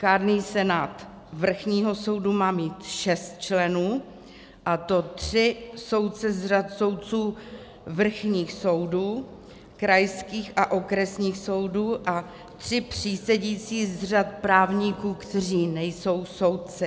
Kárný senát vrchního soudu má mít šest členů, a to tři soudce z řad soudců vrchních soudů, krajských a okresních soudů a tři přísedící z řad právníků, kteří nejsou soudci.